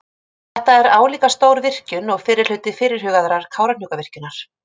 Þetta er álíka stór virkjun og fyrri hluti fyrirhugaðrar Kárahnjúkavirkjunar.